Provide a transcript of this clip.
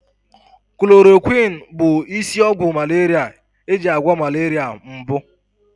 Chloroquine bụ isi ọgwụ malaria eji agwọ malaria mbụ.